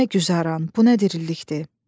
Bu nə güzaran, bu nə dirilikdir?